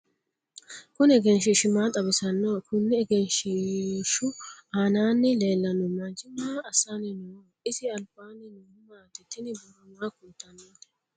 Kunni egenshiishi maa xawisannoho? Kunni egenshiishu aannaanni leelano manchi maa assanni no? Isi albaanni noohu maati? Tinni borro maa kultanotte?